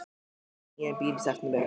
Við keyptum nýjan bíl í september.